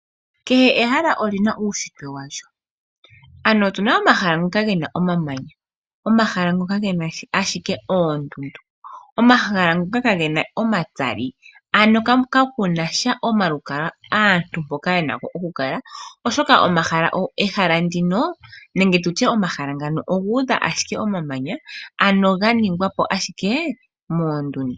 Kehe ehala olina uushitwe walyo. Opuna omahala ngoka gena omamanya omahala ngoka gena ashike oondundu. Omahala ngoka kaa gena omatsali kakun omalukalwa aantu mpoka yena oku kala, oshoka omahala ngano ogena ashike omamanya ga ningwa po ashike moondundu.